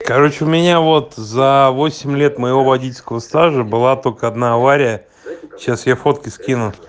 короче у меня вот за восемь лет моего водительского стажа была только одна авария сейчас я фотки скину